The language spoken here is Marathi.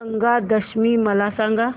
गंगा दशमी मला सांग